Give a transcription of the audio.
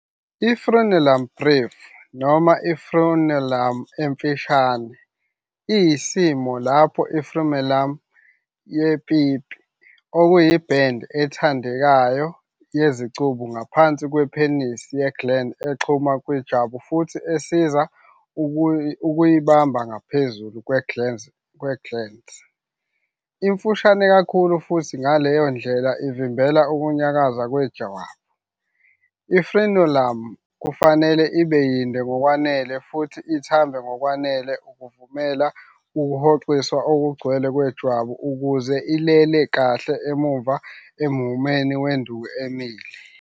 I-Frenulum breve, noma i-frenulum emfushane, iyisimo lapho i-frenulum yepipi, okuyi-band ethandekayo yezicubu ngaphansi kwepenisi ye-glans exhuma kwijwabu futhi esiza ukuyibamba ngaphezulu kwe-glans, imfushane kakhulu futhi ngaleyo ndlela ivimbela ukunyakaza wejwabu. I-frenulum kufanele ibe yinde ngokwanele futhi ithambe ngokwanele ukuvumela ukuhoxiswa okugcwele kwejwabu ukuze ilele kahle emuva emhumeni wenduku emile.